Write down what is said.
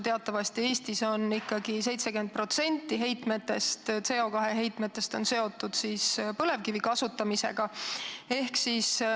Teatavasti Eestis on ikkagi 70% CO2 heitmetest seotud põlevkivi kasutamisega.